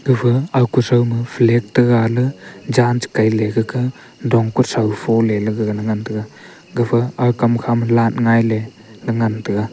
gafa ga ku son ma fag taga ley jan cha kan ley gaka dong kuthow fole le gagan ngan taiga gafa aga kam kha ma light ngai ley nga taiga.